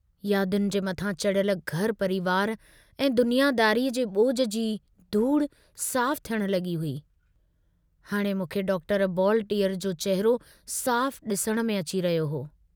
यादुनि जे मथां चढ़ियल घर परिवार ऐं दुनियादारीअ जे बोझ जी धूड़ साफ़ु थियण लगी हुई हाणे मूंखे डॉक्टर बॉलटीअर जो चहिरो साफ़ डिसण में अची रहियो हो।